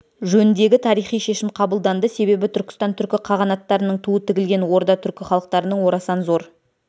жөніндегі тарихи шешім қабылданды себебі түркістан түркі қағанаттарының туы тігілген орда түркі халықтарының орасан зор